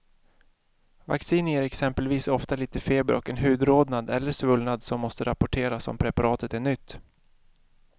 Vacciner ger exempelvis ofta lite feber och en hudrodnad eller svullnad som måste rapporteras om preparatet är nytt.